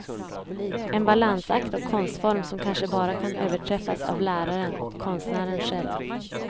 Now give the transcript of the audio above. En balansakt och konstform som kanske bara kan överträffas av läraren och konstnären själv.